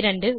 2